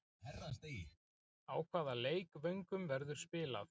Á hvaða leikvöngum verður spilað?